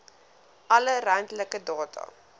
alle ruimtelike data